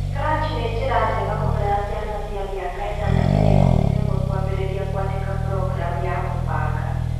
Scratch nĩ njĩra njega mũno ya ciana cia mĩaka 8-11 kwambĩrĩria kwandĩka programu ya kũbanga.